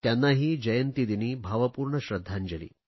त्यांनाही जयंतीदिनी भावपूर्ण श्रध्दांजली